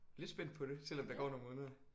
Lidt spændt på det selvom der går nogle måneder